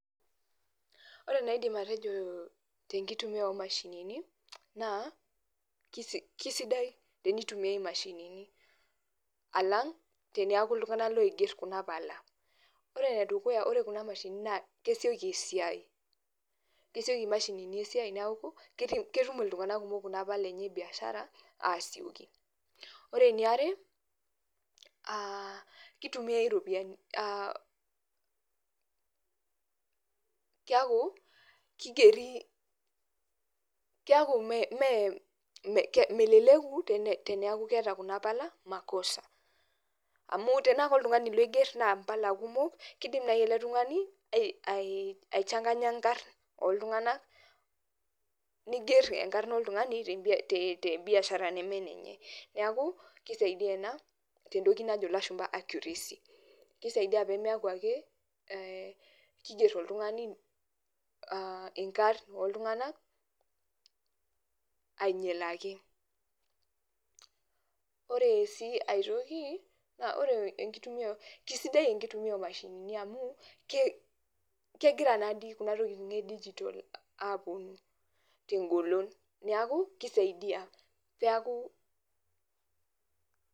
Ore enaidim atejoo tenkitumia omashinini, naa [kisi] kisidai tenitumiai imashinini alang' teneaku iltung'ana loigerr kuna pala. Ore enedukuya ore kuna mashinini naa kesioki esiai, kesioki imashinini esiai neaku ketum iltung'ana kumok kuna pala enye ebiashara aasioki. Ore eniare aah keitumiai iropiani, aah keakuu keigerii, keaku mee melelekuu tene teneaku keeta kuna pala makosa. Amu tenaake oltung'ani loigerr naa mpala kumok, keidim nai ele tung'ani aiichanganya nkarn ooltung'anak neiger enkarna oltung'ani te biashara neme enenye. Neaku keisaidia ina tentoki najo ilashumba accuracy. Keisaidia peemeaki akee eeh keigerr oltung'ani aah inkarn ooltung'anak ainyalaki. Ore sii aitoki, naa ore enkitumiata, keisidai enkitumia omashinini amu kegira naadii kuna tokitin edigitol aapuonu tengolon neaki keisaidia peakuu.